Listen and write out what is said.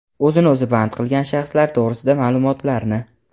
o‘zini o‘zi band qilgan shaxslar to‘g‘risida maʼlumotlarni;.